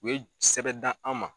U ye sɛbɛn dan an ma